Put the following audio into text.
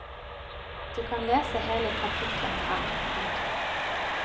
Du kan lese hele kapittelet her. punktum